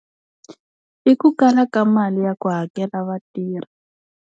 I ku kala ka mali ya ku hakela vatirhi.